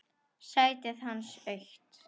Sætið hans autt.